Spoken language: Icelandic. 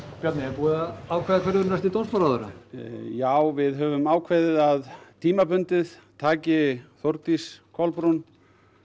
Bjarni er búið að ákveða hver verður næsti dómsmálaráðherra já við höfum ákveðið að tímabundið taki Þórdís Kolbrún